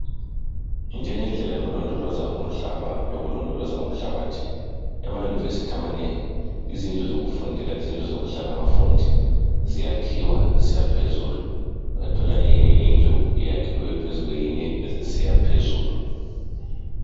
Njengendlela yokulondoloza umhlaba lokulondoloza umhlabathi. Ema university amanengi, izindlu zokufundela lezindlu zokuhlala abafundi ziyakhiwa zisiya phezulu. Uyathola enye indlu iyakhiwe phezu kweyinye zisiya phezulu.